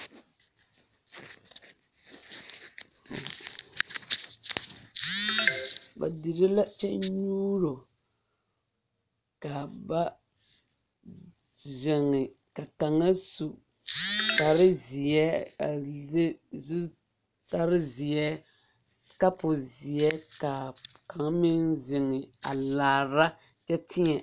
Ba dire la kyɛ nyuuro ka ba zeŋe ka kaŋa su kpare zeɛ a le zutare zeɛ kapo zeɛ ka kaŋa meŋ zeŋe a laara kyɛ teɛ.